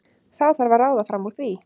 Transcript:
Þá þarf að ráða fram úr því.